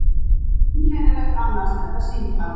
Einkennilegt annars þetta símtal.